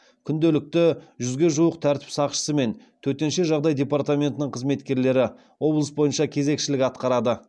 күнделікті жүзге жуық тәртіп сақшысы мен төтенше жағдай департаментінің қызметкерлері облыс бойынша кезекшілік атқарады